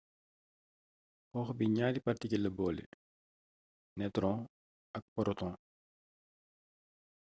xoox bi ñaari partikil la boole nëtron ak poroton